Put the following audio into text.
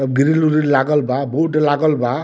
अ grill उरिल लागल बा बोर्ड लागल बा।